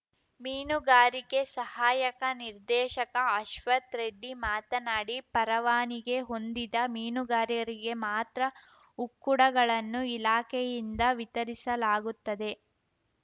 ಮೀನುಗಾರಿಕೆ ಸಹಾಯಕ ನಿರ್ದೇಶಕ ಅಶ್ವಥ್‌ರೆಡ್ಡಿ ಮಾತನಾಡಿ ಪರವಾನಿಗೆ ಹೊಂದಿದ ಮೀನುಗಾರರಿಗೆ ಮಾತ್ರ ಉಕ್ಕುಡಗಳನ್ನು ಇಲಾಖೆಯಿಂದ ವಿತರಿಸಲಾಗುತ್ತದೆ